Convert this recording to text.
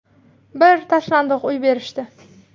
Bir tashlandiq uy berishdi.